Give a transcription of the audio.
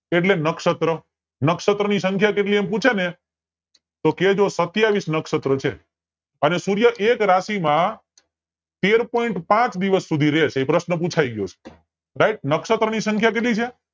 એટલે નક્ષશત્ર નક્સશત્ર ની સંખ્યા કેટલી એમ પૂછે ને તો કેજો સત્યાવીસ નક્સશત્ર છે અને સૂર્ય એક રાશિ માં તેર POINT પાંચ દિવસ સુધી રે છે એ પ્રશ્ન પુછાય ગયો છે RIGHT નક્ષશત્ર ની સંખ્યા કેટલી છે